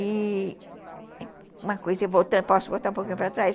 E uma coisa, posso voltar um pouquinho para trás?